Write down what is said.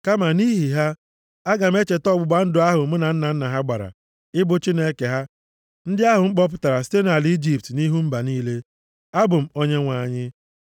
Kama nʼihi ha, aga m echeta ọgbụgba ndụ ahụ mụ na nna nna ha gbara, ịbụ Chineke ha, ndị ahụ m kpọpụtara site nʼala Ijipt nʼihu mba niile. Abụ m Onyenwe anyị.’ ”